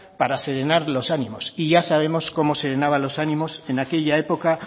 para serenan los ánimos y ya sabemos cómo serenaban los ánimos en aquella época